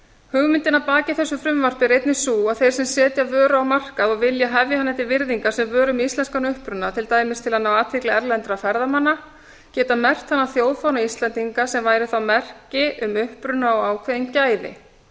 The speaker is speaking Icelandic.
hugmyndin að baki þessu frumvarpi er einnig sú að þeir sem setja vöru á markað og vilja hefja hana til virðingar sem vöru með íslenskan uppruna til dæmis til að ná athygli erlendra ferðamanna geta merkt hana þjóðfána íslendinga sem væri þá merki um uppruna og ákveðin gæði